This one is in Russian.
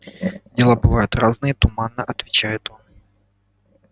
дела бывают разные туманно отвечает он